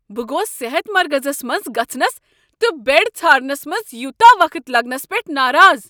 بہٕ گوٚوس صحت مرکزس منٛز گژھنس تہٕ بیڈ ژھارنس منٛز یوتاہ وقت لگنس پٮ۪ٹھ ناراض۔